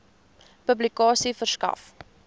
publikasie verskaf